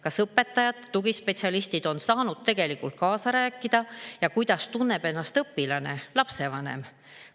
Kas õpetajad ja tugispetsialistid on saanud tegelikult kaasa rääkida ning kuidas tunneb ennast õpilane ja lapsevanem?